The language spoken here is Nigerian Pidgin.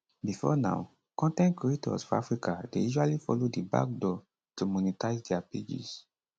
bifor now con ten t creators for africa dey usually follow di back door to monetise dia pages